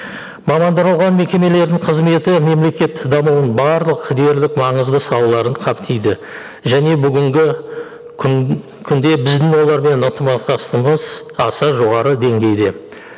мекемелердің қызметі мемлекет дамуын барлық дерлік маңызды салаларын қамтиды және бүгінгі күнде біздің олармен ынтымақтастығымыз аса жоғары деңгейде